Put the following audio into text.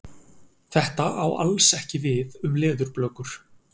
Þetta á alls ekki við um leðurblökur.